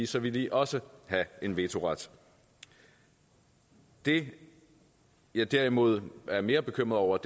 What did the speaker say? så ville de også have en vetoret det jeg derimod er mere bekymret over